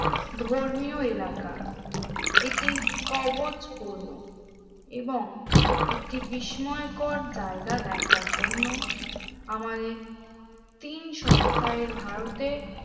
ধর্মীয় এলাকা এটি কবচপূর্ণ এবং একটি বিস্ময়কর জায়গা দেখার জন্য আমাদের তিন সপ্তাহে ভারতে